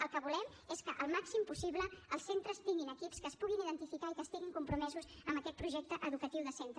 el que volem és que al màxim possible els centres tinguin equips que es puguin identificar i que estiguin compromesos amb aquest projecte educatiu de centre